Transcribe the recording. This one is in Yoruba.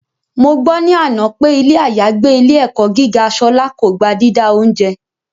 Mo gbọ́ ní àná pé ilé àyágbé ilé - ẹ̀kọ́ gíga Ṣọlá kò gba dídá oúnjẹ